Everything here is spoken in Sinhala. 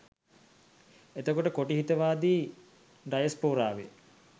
එතකොට කොටි හිතවාදි ඩයස්පොරාවේ